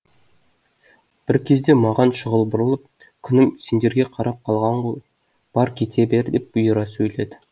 бір кезде маған шұғыл бұрылып күнім сендерге қарап қалған ғой бар кете бер деп бұйыра сөйледі